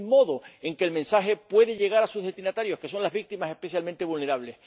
Es el modo en que el mensaje puede llegar a sus destinatarios, que son las víctimas especialmente vulnerables.